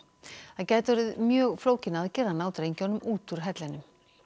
það gæti orðið mjög flókin aðgerð að ná drengjunum út úr hellinum